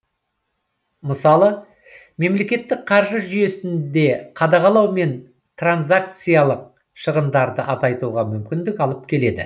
мысалы мемлекеттік қаржы жүйесінде қадағалау мен транзакциялық шығындарды азайтуға мүмкіндік алып келеді